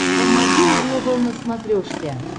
м один глобал на смотрешке